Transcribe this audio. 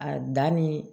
A danni